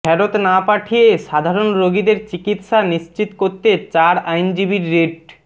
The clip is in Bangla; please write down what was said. ফেরত না পাঠিয়ে সাধারণ রোগীদের চিকিৎসা নিশ্চিত করতে চার আইনজীবীর রিট